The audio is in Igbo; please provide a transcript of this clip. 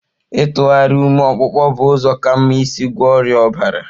Ịtụgharị ụmị ọkpụkpụ bụ ụzọ ka mma isi gwọọ ọrịa ọbara.